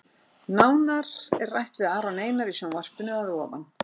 Nánar er rætt við Aron Einar í sjónvarpinu að ofan.